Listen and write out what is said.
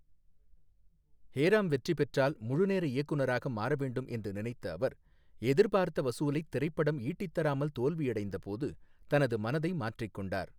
ஹே ராம்' வெற்றி பெற்றால் முழுநேர இயக்குனராக மாற வேண்டும் என்று நினைத்த அவர் எதிர்பார்த்த வசூலைத் திரைப்படம் ஈட்டித்தராமல் தோல்வியடைந்தபோது தனது மனதை மாற்றிக்கொண்டார்.